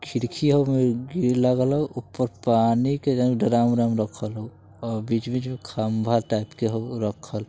खिड़की हउ ओय में ग्रिल लागल हउ ऊपर पानी के ड्राम-उराम रखल हउ अ बीच-बीच में खंभा टाइप के हो रखल |